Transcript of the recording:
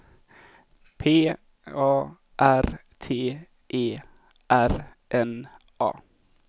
P A R T E R N A